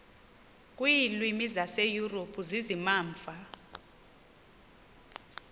kwiilwimi zaseyurophu zizimamva